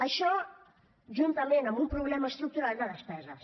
això juntament amb un problema estructural de despeses